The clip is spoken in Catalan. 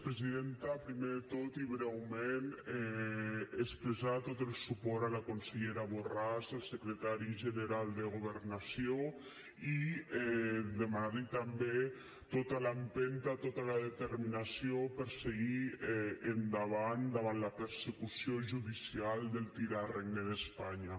primer de tot i breument expressar tot el suport a la consellera borràs al secretari general de governació i demanar li també tota l’empenta tota la determinació per seguir endavant davant la persecució judicial del tirà regne d’espanya